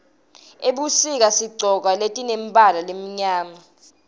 ebusika sigcoka letimemibala lemimyama